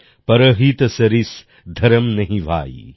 পরহিত সরিস ধরম্ নেহি ভাই